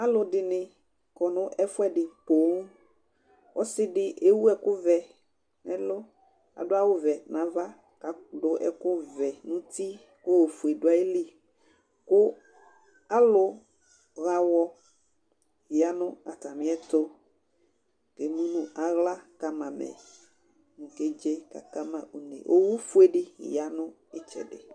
aloɛdini kɔ no ɛfoɛdi ponŋ ɔse di ewu ɛkò vɛ n'ɛlu ado awu vɛ n'ava k'ado ɛkò vɛ n'uti k'ofue do ayili kò alo ɣa awɔ yano atamiɛto k'emu no ala kama amɛ kò oke dze k'aka ma une owu fue di ya no itsɛdi